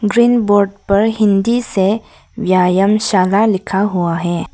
Green board पर हिंदी से व्यायाम शाला लिखा हुआ है।